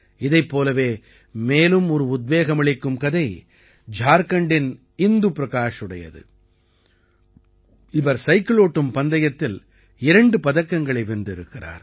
இதைப்ழ் போலவே மேலும் ஒரு உத்வேகமளிக்கும் கதை ஜார்க்கண்டின் இந்து பிரகாஷுடையது இவர் சைக்கில் ஓட்டும் பந்தயத்தில் இரண்டு பதக்கங்களை வென்றிருக்கிறார்